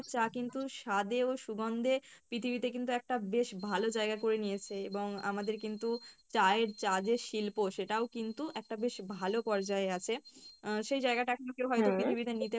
চা কিন্তু স্বাদে ও সুগন্ধে পৃথিবীতে কিন্তু একটা বেশ ভালো জায়গা করে নিয়েছে এবং আমাদের কিন্তু চায়ের চা যে শিল্প সেটাও কিন্তু একটা বেশ ভালো পর্যায়ে আছে আহ সেই জায়গাটা কেও হয়তো পৃথিবীতে নিতে